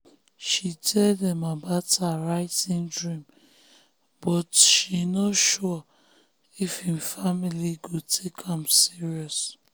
she tell them about her writing dream but she no sure if im family go take am serious.